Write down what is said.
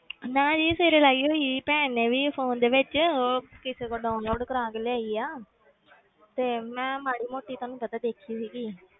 ਨਾ ਜੀ ਸਵੇਰੇ ਲਾਈ ਹੋਈ ਸੀ ਭੈਣ ਨੇ ਵੀ phone ਦੇ ਵਿੱਚ ਉਹ ਕਿਸੇ ਤੋਂ download ਕਰਵਾ ਕੇ ਲਿਆਈ ਆ ਤੇ ਮੈਂ ਮਾੜੀ ਮੋਟੀ ਤੁਹਾਨੂੰ ਪਤਾ ਦੇਖੀ ਸੀਗੀ,